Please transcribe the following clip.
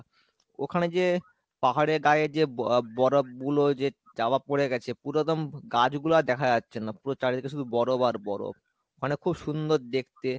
ওখানে যে পাহাড়ের গায়ে যে ব~ বরফ গুলো যে চাপা পরে গেছে পুরো একদম গাছ গুলো আর দেখা যাচ্ছে না পুরো চারিদিকে শুধু বরফ আর বরফ, মানে খুব সুন্দর দেখতে।